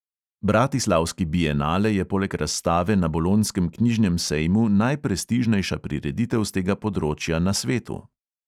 Bratislavski bienale je poleg razstave na bolonjskem knjižnem sejmu najprestižnejša prireditev s tega področja na svetu.